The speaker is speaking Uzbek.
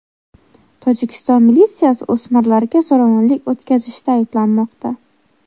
Tojikiston militsiyasi o‘smirlarga zo‘ravonlik o‘tkazishda ayblanmoqda.